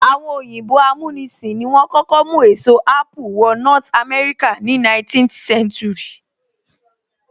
Àwọn òyìnbó amúnisìn ni wọ́n kọ́kọ́ mú èso apple wọ north America ní 17th century